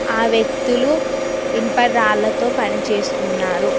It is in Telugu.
ఆ వ్యక్తులు ఇనుప రాళ్లతో పనిచేస్తున్నారు.